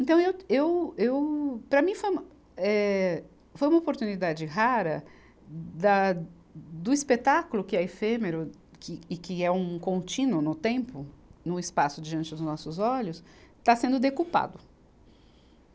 Então eu, eu, eu, para mim, foi uma, eh, foi uma oportunidade rara da, do espetáculo, que é efêmero que, e que é um contínuo no tempo, no espaço diante dos nossos olhos, estar sendo decupado.